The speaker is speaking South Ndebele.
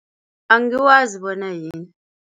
Angiwazi bona yini.